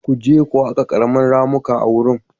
Ku je ku haƙa ƙarin ramuka a wurin.